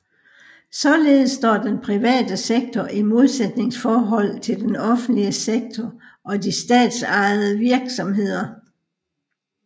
Således står den private sektor i modsætningsforhold til den offentlige sektor og de statsejede virksomheder